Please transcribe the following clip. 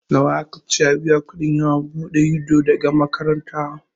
Nawa aka ce a biya kuɗin yawon buɗe ido daga makaranta?